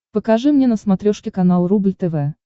покажи мне на смотрешке канал рубль тв